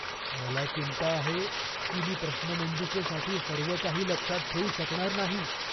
मला चिंता आहे की मी प्रश्नमंजुषेसाठी सर्व काही लक्षात ठेवू शकणार नाही.